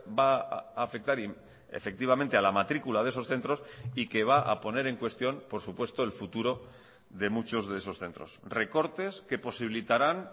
va a afectar efectivamente a la matrícula de esos centros y que va a poner en cuestión por supuesto el futuro de muchos de esos centros recortes que posibilitarán